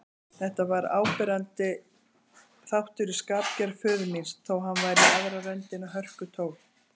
Þetta var áberandi þáttur í skapgerð föður míns, þó hann væri í aðra röndina hörkutól.